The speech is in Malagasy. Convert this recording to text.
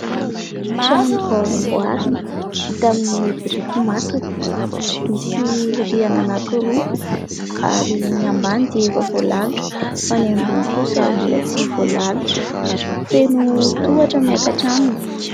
Trano vao amboarina vita amin'ny biriky masaka. Misy rihana anankiroa ary ny ambany dia efa voalalotra fa ny ambony kosa mbola tsy voalalotra. Feno tohatra miakatra aminy.